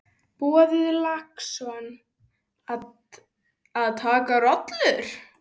Boði Logason: Að taka rollur?